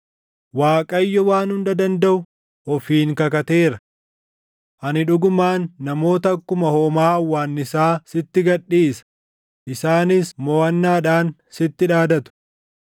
Waaqayyo Waan Hunda Dandaʼu ofiin kakateera: Ani dhugumaan namoota akkuma hoomaa hawwaannisaa // sitti gad dhiisa; isaanis moʼannaadhaan sitti dhaadatu.